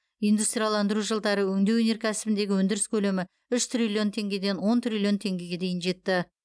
индустрияландыру жылдары өңдеу өнеркәсібіндегі өндіріс көлемі үш триллион теңгеден он триллион теңгеге дейін жетті